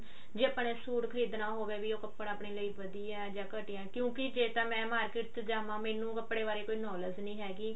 ਜੇ ਆਪਾਂ ਨੇ ਸੂਟ ਖਰੀਦਣਾ ਹੋਵੇ ਵੀ ਉਹ ਕੱਪੜਾ ਆਪਣੇ ਲਈ ਵਧੀਆ ਜਾਂ ਘਟੀਆ ਕਿਉਂਕਿ ਜੇ ਤਾਂ ਮੈਂ market ਚ ਜਾਵਾਂ ਮੈਨੂੰ ਕੱਪੜੇ ਬਾਰੇ ਕੋਈ knowledge ਨੀ ਹੈਗੀ